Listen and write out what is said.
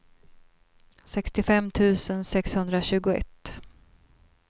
sextiofem tusen sexhundratjugoett